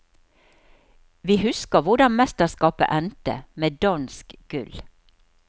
Vi husker hvordan mesterskapet endte, med dansk gull.